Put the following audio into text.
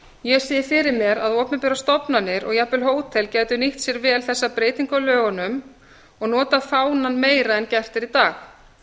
ég sé fyrir mér að opinberar stofnanir og jafnvel hótel gætu nýtt sér vel þessa breytingu á lögunum og notað fánann meira en gert er í dag